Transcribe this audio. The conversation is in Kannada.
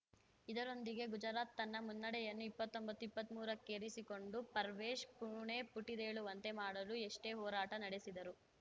ಇದರೊಂದಿಗೆ ಗುಜರಾತ್‌ ತನ್ನ ಮುನ್ನಡೆಯನ್ನು ಇಪ್ಪತ್ತೊಂಬತ್ತುಇಪ್ಪತ್ಮೂರಕ್ಕೇರಿಸಿಕೊಂಡಿತು ಪರ್ವೇಶ್‌ ಪುಣೆ ಪುಟಿದೇಳುವಂತೆ ಮಾಡಲು ಎಷ್ಟೇ ಹೋರಾಟ ನಡೆಸಿದರೂ